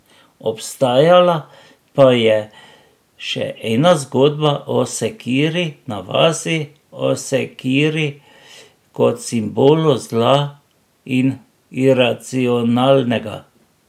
Obstajala pa je še ena zgodba o sekiri na vasi, o sekiri kot simbolu zla in iracionalnega.